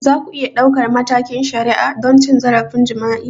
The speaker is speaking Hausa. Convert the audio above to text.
Za ku iya ɗaukar matakin shari'a don cin zarafin jima'i?